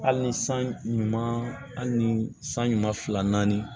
Hali ni san ɲuman hali ni san ɲuman fila naani